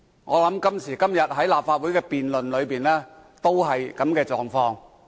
我想今時今日立法會的辯論，也是這樣的狀況。